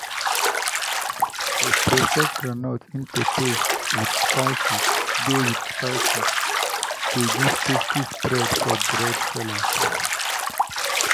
to process groundnut into paste with spices dey with spices dey give tasty spread for bread sellers.